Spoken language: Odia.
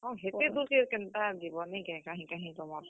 ହଁ ହେତେ ଦୁର୍ କେ କେନ୍ତା ଯିବ ନିକେ କାହିଁ କାହିଁ ତମର୍।